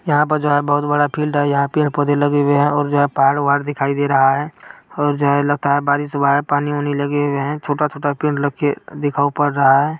यहाँ पर जो है बहुत बड़ा फील्ड है। यहाँ पेड़- पौधे लगे हुए हैं और जहाँ पहाड़-ओहाड़ दिखाई दे रहा है और जहाँ लगता बारिश हुआ है। पानी-ओनी लगे हुए है छोटा- छोटा पेड़ लखे दिखाओ पड़ रहा है।